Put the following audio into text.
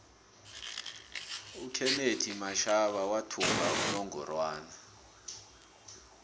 ukenethi mashaba wathumba inongorwana